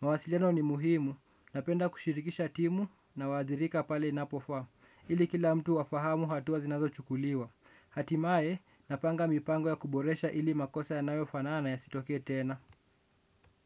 Mawasiliano ni muhimu. Napenda kushirikisha timu na wadhirika pale inapofaa. Ili kila mtu afahamu hatua zinazo chukuliwa hatimaye napanga mipango ya kuboresha ili makosa yanayo fanana yasitokee tena.